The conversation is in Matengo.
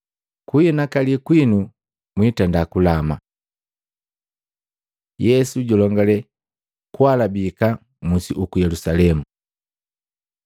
Kuhinakali kwinu, mwiitenda kulama. Yesu julongale kuhalabika musi uku Yelusalemu Matei 24:15-21; Maluko 13:14-19